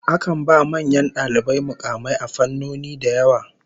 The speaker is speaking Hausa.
Akan ba manyan dalibai mukamai a fannoni da yawa.